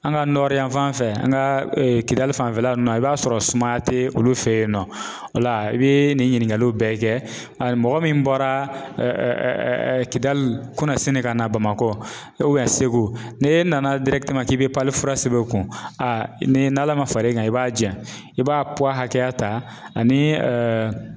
An ka yan fanfɛ, an ka kidali fanfɛla nunnu na i b'a sɔrɔ sumaya te olu fe yen nɔ, o la i bi nin ɲininkaliw bɛɛ kɛ mɔgɔ min bɔra Kidali kunu dasini ka na Bamakɔ segu, ni e nana k'i bi fura sɛbɛn o kun, a ni Ala ma far'i kan, i b'a jɛ, i b'a hakɛya ta ani